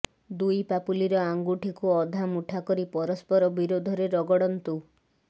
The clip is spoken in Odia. ଦୁଇ ପାପୁଲିର ଆଙ୍ଗୁଠିକୁ ଅଧା ମୁଠା କରି ପରସ୍ପର ବିରୋଧରେ ରଗଡନ୍ତୁ